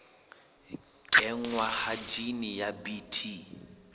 kenngwa ha jine ya bt